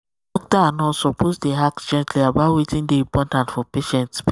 doctor um and nurse suppose um dey ask gently about wetin dey important for patient spirit